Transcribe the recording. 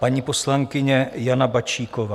Paní poslankyně Jana Bačíková.